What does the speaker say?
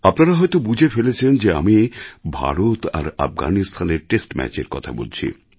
আপনারা হয়তো বুঝে ফেলেছেন যে আমি ভারত আর আফগানিস্তানের টেস্ট ম্যাচের কথা বলছি